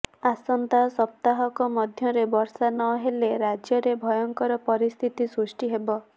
ଆସନ୍ତା ସପ୍ତାହକ ମଧ୍ୟରେ ବର୍ଷା ନ ହେଲେ ରାଜ୍ୟରେ ଭୟଙ୍କର ପରିସ୍ଥିତି ସୃଷ୍ଟି ହେବ